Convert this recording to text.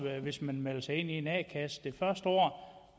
hvis man melder sig ind i en a kasse kan